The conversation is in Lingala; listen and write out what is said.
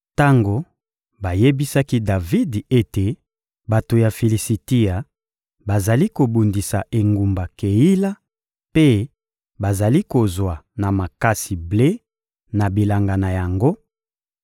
Tango bayebisaki Davidi ete bato ya Filisitia bazali kobundisa engumba Keila mpe bazali kozwa na makasi ble na bilanga na yango,